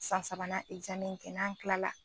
San sabanan in kɛ, n' an kilala.